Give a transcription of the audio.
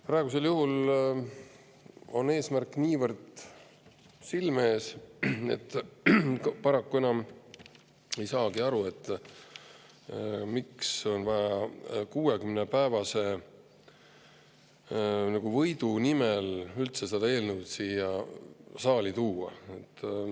Praegusel juhul on meil eesmärk niivõrd silme ees, et ma paraku ei saagi enam aru, miks on üldse vaja 60‑päevase võidu nimel seda eelnõu siia saali tuua.